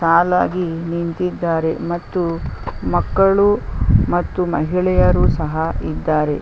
ಸಾಲಾಗಿ ನಿಂತಿದ್ದಾರೆ ಮತ್ತು ಮಕ್ಕಳು ಮತ್ತು ಮಹಿಳೆಯರು ಸಹ ಇದ್ದಾರೆ .